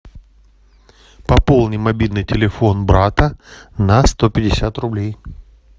пополни мобильный телефон брата на сто пятьдесят рублей